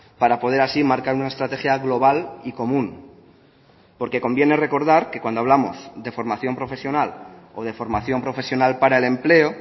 para poder así marcar una estrategia global y común porque conviene recordar que cuando hablamos de formación profesional o de formación profesional para el empleo